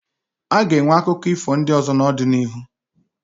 Aga enwe akụkọ ifo ndị ọzọ n'ọdịnihu